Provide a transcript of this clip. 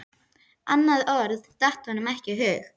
Annað orð datt honum ekki í hug.